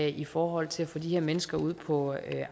i forhold til at få de her mennesker ud på